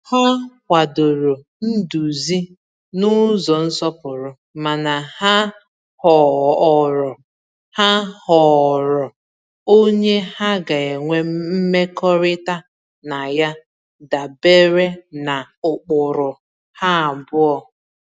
Ha kwadoro nduzi n’ụzọ nsọpụrụ, mana ha họọrọ ha họọrọ onye ha ga-enwe mmekọrịta na ya dabere na ụkpụrụ ha abụọ.